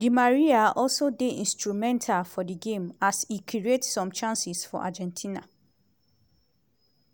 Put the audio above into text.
di maria also dey instrumental for di game as e create some chances for argentina.